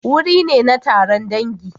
Wuri ne na taron dangi.